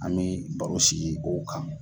An me baro sigi o kan.